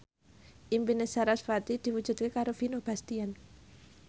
impine sarasvati diwujudke karo Vino Bastian